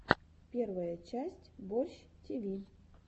первая часть борщ тиви